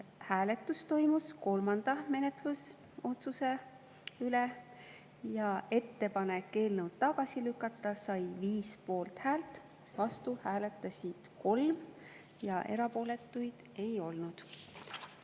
Hääletus toimus kolmanda menetlusotsuse üle ja ettepanek eelnõu tagasi lükata sai 5 poolthäält, vastuhääli oli 3 ja erapooletuid ei olnud.